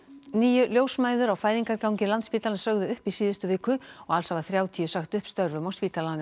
níu ljósmæður á fæðingargangi Landspítalans sögðu upp í síðustu viku og alls hafa þrjátíu sagt upp störfum á spítalanum